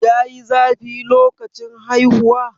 yayi zafi lokacin haihuwa?